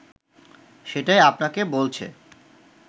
সেটাই আপনাকে বলছে